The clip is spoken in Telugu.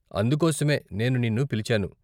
అందుకోసమే నేను నిన్ను పిలిచాను.